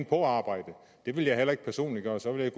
på arbejde det ville jeg heller ikke personligt gøre så ville